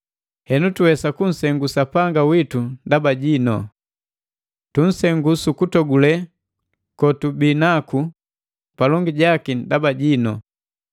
Henu tuwesa kusengu Sapanga witu ndaba jinu. Tunsengu su kutogule kotubinaku palongi jaki ndaba jinu.